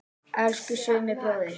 Elsku Summi bróðir.